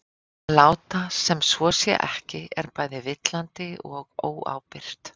Að láta sem svo sé ekki er bæði villandi og óábyrgt.